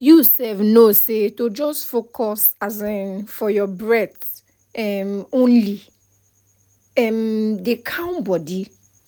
you sef know na say to just focus um for your breathe um only um dey calm body